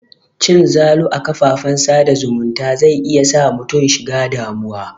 Cin zalu a kafan sa da zumunta zai iya sa mutum shiga damuwa.